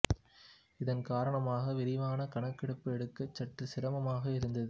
இதன் காரணமாக விரிவான கணக்கெடுப்பு எடுக்க சற்று சிரமமாக இருந்தது